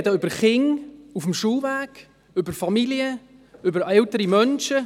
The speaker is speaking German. Wir sprechen über Kinder auf dem Schulweg, über Familien, über ältere Menschen.